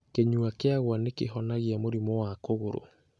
Kĩnyua kĩaguo nĩ kĩhonagia mũrimũ wa kũgũrũ.